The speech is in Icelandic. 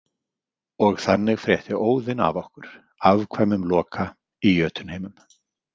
Og þannig frétti Óðinn af okkur, afkvæmum Loka, í Jötunheimum.